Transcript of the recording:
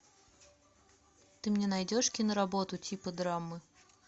ты мне найдешь киноработу типа драмы